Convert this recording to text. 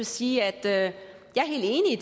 sige at jeg